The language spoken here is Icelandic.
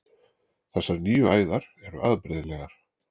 Þessar nýju æðar eru afbrigðilegar.